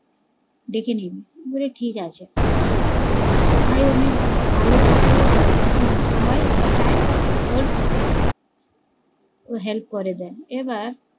ডেকে নিবি বলে ঠিকাছে, ওর ভাই অনেক ভালো থাকে ওকে সব সময় তাই ওর help করে দেন এবার